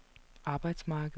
arbejdsmarkedet